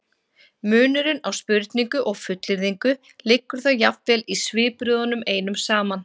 munurinn á spurningu og fullyrðingu liggur þá jafnvel í svipbrigðunum einum saman